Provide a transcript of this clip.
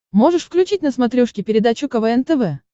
можешь включить на смотрешке передачу квн тв